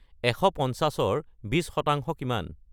এশ পঞ্চাশৰ বিশ শতাংশ কিমান